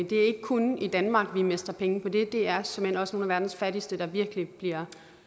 det er ikke kun i danmark vi mister penge på det det er såmænd også nogle af verdens fattigste der virkelig bliver